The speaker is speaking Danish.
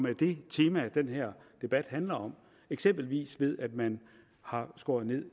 er det tema den her debat handler om eksempelvis ved at man har skåret ned